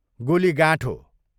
गोलीगाठोँ